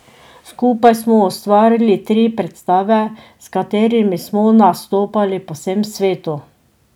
Skupaj smo ustvarili tri predstave, s katerimi smo nastopali po vsem svetu.